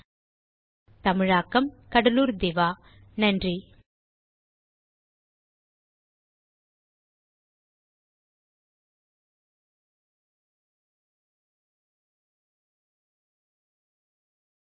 spoken hyphen tutorial dot org slash நிமைக்ட் hyphen intro தமிழாக்கம் கடலூர் திவா வணக்கம்